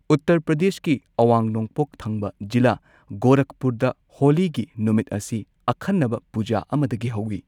ꯎꯠꯇꯔ ꯄ꯭ꯔꯗꯦꯁꯀꯤ ꯑꯋꯥꯡ ꯅꯣꯡꯄꯣꯛ ꯊꯪꯕ ꯖꯤꯂꯥ, ꯒꯣꯔꯥꯈꯄꯨꯔꯗ, ꯍꯣꯂꯤꯒꯤ ꯅꯨꯃꯤꯠ ꯑꯁꯤ ꯑꯈꯟꯅꯕ ꯄꯨꯖꯥ ꯑꯃꯗꯒꯤ ꯍꯧꯏ꯫